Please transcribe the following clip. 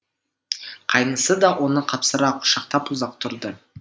қайнысы да оны қапсыра құшақтап ұзақ тұрды